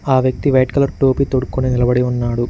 ఆ వ్యక్తి white colour టోపీ తొడ్డుకొని నిలబడి ఉన్నాడు.